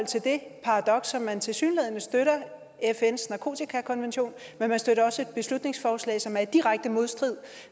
til det paradoks at man tilsyneladende støtter fns narkotikakonvention men man støtter også et beslutningsforslag som er i direkte modstrid